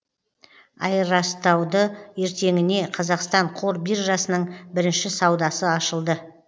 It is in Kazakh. айырастауды ертеңіне қазақстан қор биржасының бірінші саудасы ашылды